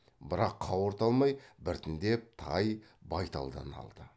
бірақ қауырт алмай біртіндеп тай байталдан алды